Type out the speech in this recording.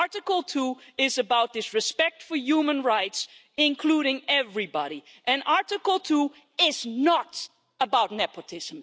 Article 2 is about respect for human rights, including everybody, and Article 2 is not about nepotism.